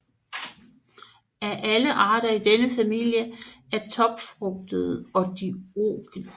Alle arter i denne familie er topfrugtede og dioike